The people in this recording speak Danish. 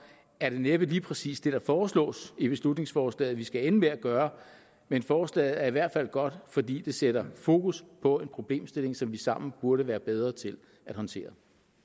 er det næppe lige præcis det der foreslås i beslutningsforslaget vi skal ende med at gøre men forslaget er i hvert fald godt fordi det sætter fokus på en problemstilling som vi sammen burde være bedre til at håndtere